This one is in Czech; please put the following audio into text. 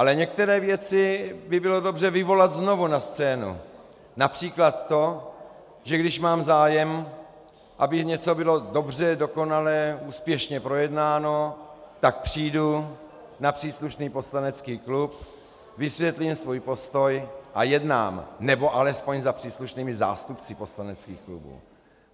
Ale některé věci by bylo dobře vyvolat znovu na scénu, například to, že když mám zájem, aby něco bylo dobře, dokonalé, úspěšně projednáno, tak přijdu na příslušný poslanecký klub, vysvětlím svůj postoj a jednám, nebo alespoň za příslušnými zástupci poslaneckých klubů.